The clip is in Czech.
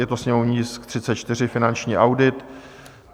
Je to sněmovní tisk 34, Finanční audit.